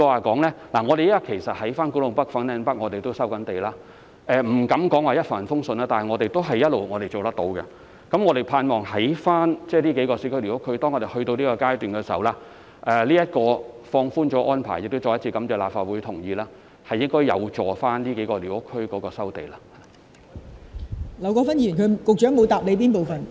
其實我們亦正在古洞北和粉嶺北收地，我不敢說這項工作一帆風順，但我們一直也能夠做到，希望當這數個市區寮屋區的收地工作進入這個階段時，這項已放寬的安排——我再次感謝立法會同意這項安排——應該有助於在這數個寮屋區進行收地工作。